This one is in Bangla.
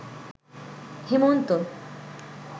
হেমন্ত